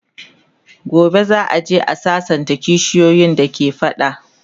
gobe za'a je a sassanta kishiyoyin da ke fada